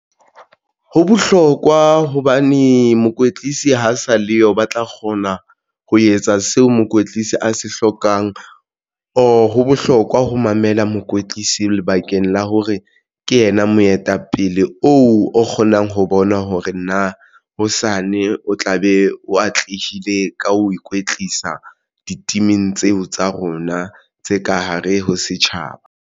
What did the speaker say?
Ho bohlokwa hobane mokwetlisi ha sa le yo ba tla kgona ho etsa seo mokwetlisi a se hlokang. Or ho bohlokwa ho mamela mokwetlisi lebakeng la hore ke yena moetapele oo o kgonang ho bona hore na hosane o tla be o atlehile ka ho ikwetlisa. Di-team-ing tseo tsa rona tse ka hare ho setjhaba.